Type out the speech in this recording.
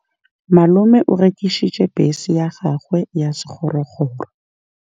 Malome o rekisitse bese ya gagwe ya sekgorokgoro.